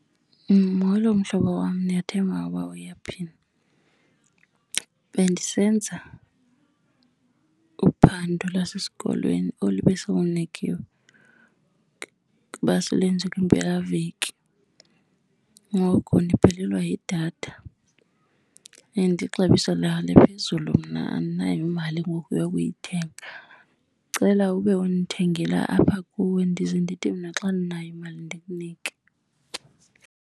Molo mhlobo wam, ndiyathemba ukuba uyaphila. Bendisenza uphando lwasesikolweni olu besilunikiwe ukuba silwenze kwimpelaveki. Ngoku ndiphelelwa yidatha and ixabiso layo liphezulu, mna andinayo imali ngoku yokuyithenga. Ndicela ube undithengela apha kuwe ndize ndithi mna xa ndinayo imali ndikunike.